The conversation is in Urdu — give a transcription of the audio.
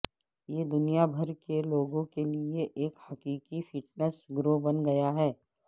یہ دنیا بھر کے لوگوں کے لئے ایک حقیقی فٹنس گرو بن گیا ہے